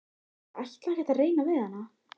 Ég ætla ekkert að reyna við hana.